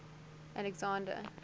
alexander